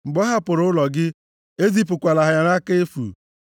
Mgbe ọ hapụrụ ụlọ gị, ezipụkwala ya nʼaka efu!